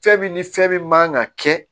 Fɛn min ni fɛn min man ka kɛ